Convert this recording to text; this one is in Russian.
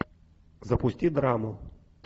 запусти драму